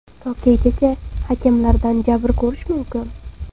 Tokaygacha hakamlardan jabr ko‘rish mumkin?